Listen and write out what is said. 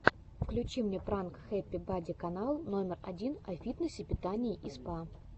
включи мне пранк хэппи бади канала номер один о фитнесе питании и спа